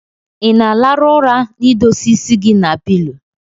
Inaa alarụ ụra na idosaa isi gi na pilo?